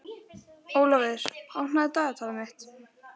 Ólafur, opnaðu dagatalið mitt.